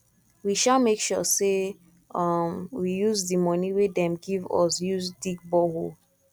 we um make sure sey um we use di money wey dem give use dig borehole